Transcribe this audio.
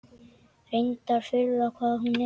Reyndar furða hvað hún er.